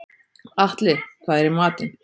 Atli, hvað er í matinn?